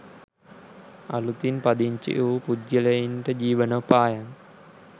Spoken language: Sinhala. අලුතින් පදිංචි වූ පුද්ගලයින්ට ජීවනෝපායන්